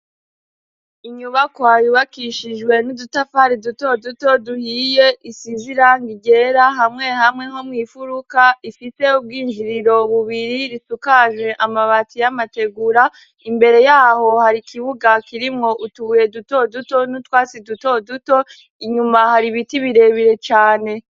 Inyubako yubakishijwe n'udutafari duto duto duhiye isize irangi ryera hamwe hamwe nko mwifuruka ifise ubwinjiriro bubiri risakaje amabati y'amategura imbere yaho hari ikibuga kirimwo utubuye duto duto n'utwatsi duto duto inyuma hari ibiti bire bire cane.